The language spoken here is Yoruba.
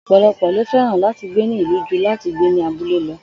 Ò̩pòlo̩pò̩ ló fé̩ràn láti gbé ní ìlú ju láti gbé ní abúlé lo̩